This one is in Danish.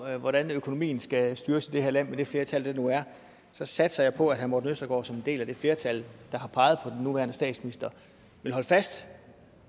hvordan økonomien skal styres i det her land med det flertal der nu er så satser jeg på at herre morten østergaard som en del af det flertal der har peget på den nuværende statsminister vil holde fast